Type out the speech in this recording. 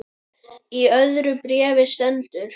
Í öðru bréfi sendur